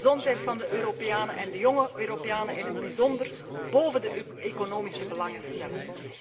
Wel moeten we de gezondheid van de Europeanen, en de jónge Europeanen in het bijzonder, bóven de economische belangen stellen.